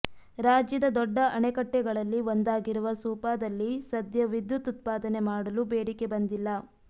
ರಾಜ್ಯದ ದೊಡ್ಡ ಅಣೆಕಟ್ಟೆಗಳಲ್ಲಿ ಒಂದಾಗಿರುವ ಸೂಪಾದಲ್ಲಿ ಸದ್ಯ ವಿದ್ಯುತ್ ಉತ್ಪಾದನೆ ಮಾಡಲು ಬೇಡಿಕೆ ಬಂದಿಲ್ಲ